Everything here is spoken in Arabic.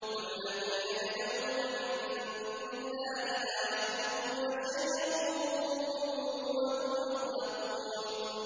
وَالَّذِينَ يَدْعُونَ مِن دُونِ اللَّهِ لَا يَخْلُقُونَ شَيْئًا وَهُمْ يُخْلَقُونَ